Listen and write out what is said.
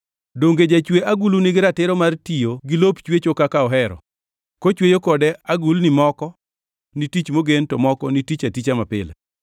Donge jachwe agulu nigi ratiro mar tiyo gi lop chwecho kaka ohero; kochweyo kode agulni moko ni tich mogen, to moko ni tich aticha mapile?